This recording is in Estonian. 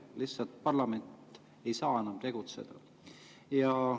Lihtsalt parlament ei saa enam tegutseda.